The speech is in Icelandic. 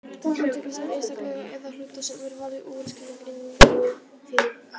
Úrtak er safn einstaklinga eða hluta sem er valið úr skilgreindu þýði.